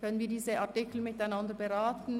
Können wir diese Artikel miteinander beraten?